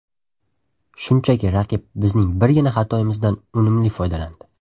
Shunchaki raqib bizning birgina xatoimizdan unumli foydalandi.